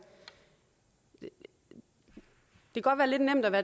det kan godt være lidt nemt at